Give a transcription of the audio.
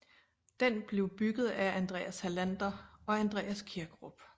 Den blev bygget af Andreas Hallander og Andreas Kirkerup